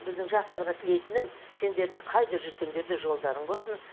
біздің жастарға тілейтінім сендер де қайда жүрсеңдер де жолдарың болсын